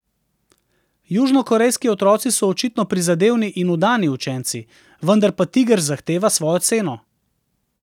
Južnokorejski otroci so očitno prizadevni in vdani učenci, vendar pa tiger zahteva svojo ceno.